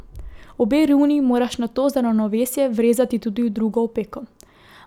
Obe runi moraš nato za ravnovesje vrezati tudi v drugo opeko.